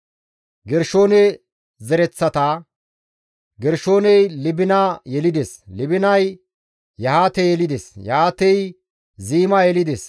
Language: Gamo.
Gershoone zereththata; Gershooney Libina yelides; Libinay Yahaate yelides; Yahaatey Ziima yelides;